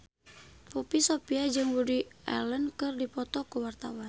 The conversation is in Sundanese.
Poppy Sovia jeung Woody Allen keur dipoto ku wartawan